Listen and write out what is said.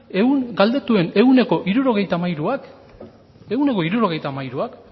galdetuen setenta y tres por cientoak